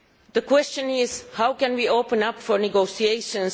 The question is how can we open up for negotiations?